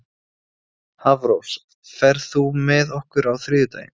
Hafrós, ferð þú með okkur á þriðjudaginn?